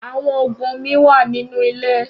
Awọn oogun mi wa ninu ile.